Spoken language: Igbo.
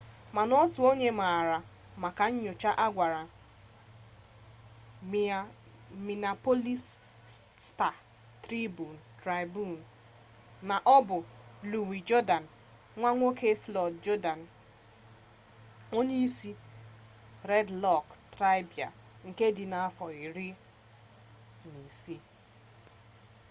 mana otu onye maara maka nnyocha a gwara miniapolis sta-tribun na ọ bụ luwi jurdan nwa nwoke flọịd jurdan onye isi red lek traịbal nke dị afọ 16